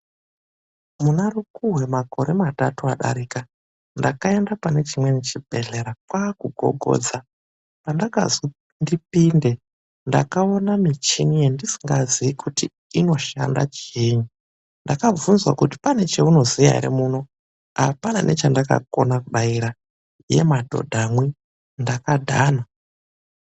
Muna mukhuhwe mumakore matatu adarika aya, ndakaende panechimweni chibhedhlera kwaakugogodza. Pandakazwi ndipinde, ndakaone michini yendisingaziyi kuti inoshanda chiinyi. Ndakabvunzwa kuti pane chaunoziya ere muno, apana nechandakona kudaira. Yee, madhodhamwi, ndakadhana.